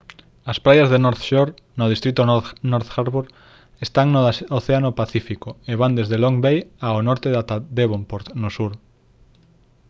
as praias de north shore no distrito north harbour están no océano pacífico e van desde long bay ao norte ata devonport no sur